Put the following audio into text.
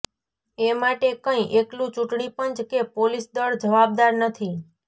એ માટે કંઈ એકલું ચૂંટણી પંચ કે પોલીસ દળ જવાબદાર નથી